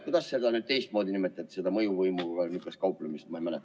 Kuidas niisugust mõjuvõimuga kauplemist teisiti nimetada?